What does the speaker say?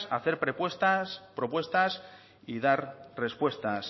hacer propuestas y dar respuestas